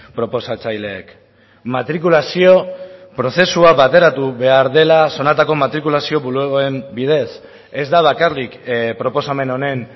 proposatzaileek matrikulazio prozesua bateratu behar dela zonatako matrikulazio bulegoen bidez ez da bakarrik proposamen honen